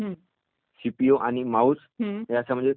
याच्यामध्ये त्याला काही क्षेत्रांमध्ये त्याला विभागून